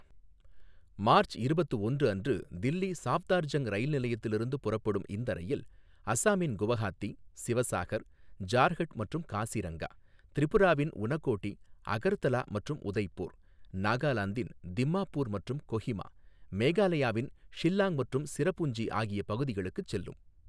March இருபத்து ஒன்று அன்று தில்லி சாஃப்தார்ஜங் ரயில் நிலையத்திலிருந்து புறப்படும் இந்த ரயில், அசாமின் குவஹாத்தி, சிவசாகர், ஜார்ஹட் மற்றும் காசிரங்கா, திரிபுராவின் உனகோடி, அகர்தலா மற்றும் உதய்பூர், நாகாலாந்தின் திம்மாப்பூர் மற்றும் கொஹிமா, மேகாலயாவின் ஷில்லாங் மற்றும் சிரபுஞ்சி ஆகிய பகுதிகளுக்குச் செல்லும்.